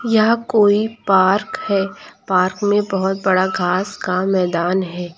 यहाँ कोई पार्क है पार्क में बहुत बड़ा घास का मैदान है।